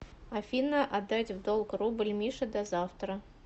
афина отдать в долг рубль мише до завтра